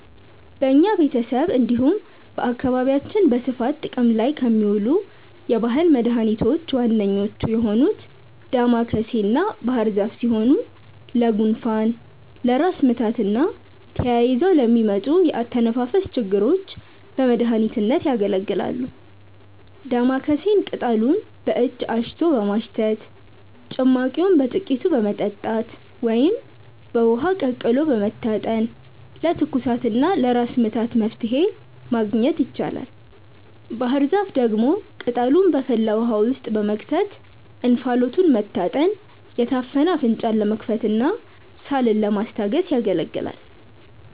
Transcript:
በኛ ቤተሰብ እንዲሁም በአካባቢያችን በስፋት ጥቅም ላይ ከሚውሉ የባህል መድኃኒቶች ዋነኞቹ የሆኑት ዳማከሴና ባህርዛፍ ሲሆኑ ለጉንፋን፣ ለራስ ምታትና ተያይዘው ለሚመጡ የአተነፋፈስ ችግሮች በመድሀኒትነት ያገለግላሉ። ዳማከሴን ቅጠሉን በእጅ አሽቶ በማሽተት፣ ጭማቂውን በጥቂቱ በመጠጣት ወይም በውሃ ቀቅሎ በመታጠን ለትኩሳትና ለራስ ምታት መፍትሔ ማግኘት ይቻላል። ባህርዛፍ ደግሞ ቅጠሉን በፈላ ውሃ ውስጥ በመክተት እንፋሎቱን መታጠን የታፈነ አፍንጫን ለመክፈትና ሳልን ለማስታገስ ያገለግላል።